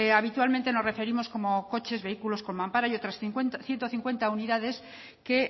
habitualmente nos referimos como coches vehículos con mampara y otras ciento cincuenta unidades que